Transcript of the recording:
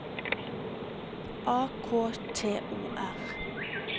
A K T O R